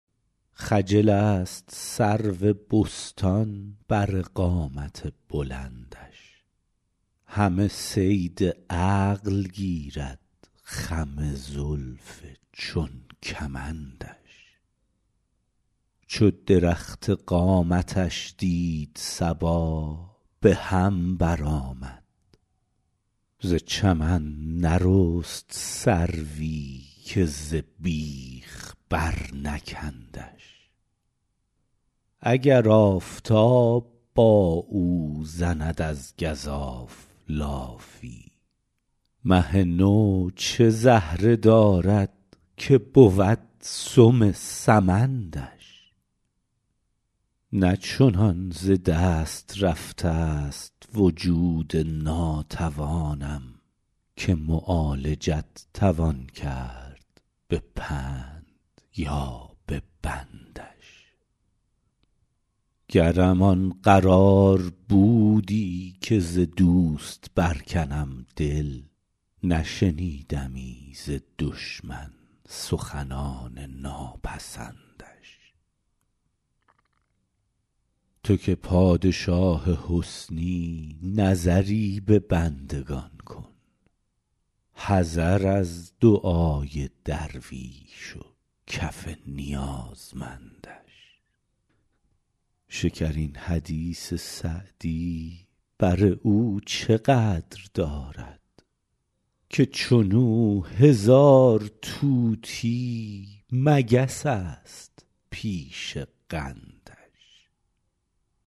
خجل است سرو بستان بر قامت بلندش همه صید عقل گیرد خم زلف چون کمندش چو درخت قامتش دید صبا به هم برآمد ز چمن نرست سروی که ز بیخ برنکندش اگر آفتاب با او زند از گزاف لافی مه نو چه زهره دارد که بود سم سمندش نه چنان ز دست رفته ست وجود ناتوانم که معالجت توان کرد به پند یا به بندش گرم آن قرار بودی که ز دوست برکنم دل نشنیدمی ز دشمن سخنان ناپسندش تو که پادشاه حسنی نظری به بندگان کن حذر از دعای درویش و کف نیازمندش شکرین حدیث سعدی بر او چه قدر دارد که چون او هزار طوطی مگس است پیش قندش